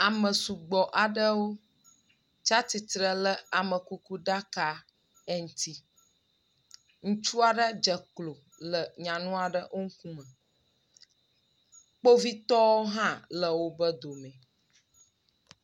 Ame sugbɔ aɖewo tsatsitre le amekuku ɖaka aɖe ŋuti. ŋutsu aɖe dze klo le nyanu aɖe wo ŋkume. Kpovitɔwo hã le wobe edomee.